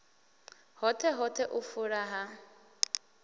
hoṱhe hoṱhe u fula ha